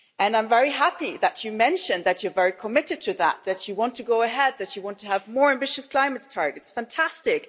I'm very happy that you mentioned that you are very committed to that that you want to go ahead that you want to have more ambitious climate targets, fantastic!